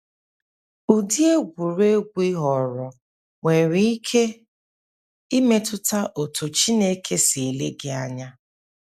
Ụdị egwuregwu ị họọrọ nwere ike imetụta otú Chineke si ele gị anya.